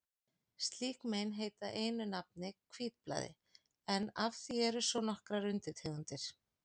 Slík mein heita einu nafni hvítblæði, en af því eru svo nokkrar undirtegundir.